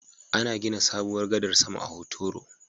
Ana gina sabuwar gadar sama a Hotoro